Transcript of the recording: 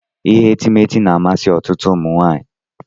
Ihe etemeete na-amasị ọtụtụ ụmụ nwaanyị.